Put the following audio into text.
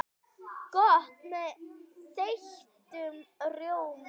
Gott með þeyttum rjóma!